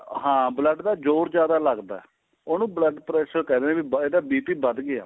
ਹਾਂ blood ਦਾ ਜ਼ੋਰ ਜਿਆਦਾ ਲੱਗਦਾ ਉਹਨੂੰ blood pressure ਕਹਿ ਦਿਨੇ ਆਂ ਵੀ ਇਹਦਾ BP ਵੱਧ ਗਿਆ